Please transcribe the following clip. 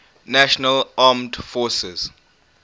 national armed forces